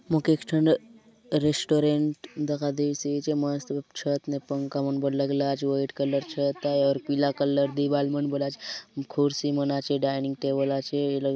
मोके एक ठन रेस्टोरेंट दखा देयसी आचे मस्त छत मे पंखा मन बले लगला आचे व्हाइट कलर छत आय और पीला कलर दीवार मन आचे कुर्सी मन आचे डाइनिंग टेबल आचे ये लगे